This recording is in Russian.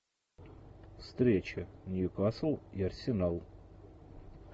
встреча ньюкасл и арсенал